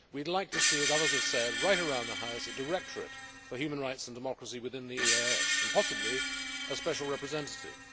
We would like to see as others have said, right around the House a directorate for human rights and democracy within the EEAS and, possibly, a special representative.